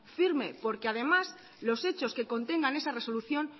firme porque además los hechos que contengan esa resolución